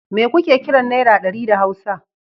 Mai kuke kiran Naira ɗari da Hausa?